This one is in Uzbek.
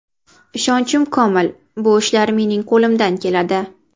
Ishonchim komil, bu ishlar mening qo‘limdan keladi.